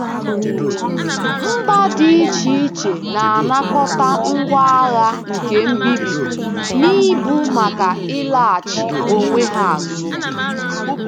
Mba dị iche iche na-anakọta ngwa agha nke mbibi n’ibu maka ịlachi onwe ha azụ.